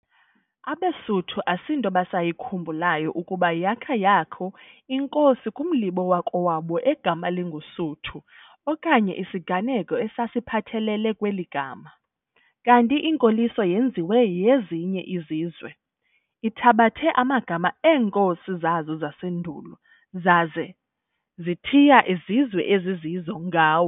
abesuthu asinto basayikhumbulayo ukuba yakha yakho inkosi kumlibo wakowabo egama linguSuthu okanye isiganeko esiphathelele kweli gama, kanti inkoliso yezinye izizwe ithabathe amagama eenkosi zazo zasendulo, zase zithiya izizwe ezizizo ngawo.